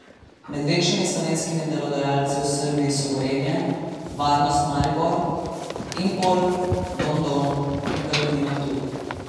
Med večjimi slovenskimi delodajalci v Srbiji so Gorenje, Varnost Maribor, Impol, Don Don in Perutnina Ptuj.